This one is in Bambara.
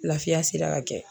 Lafiya sera ka kɛ.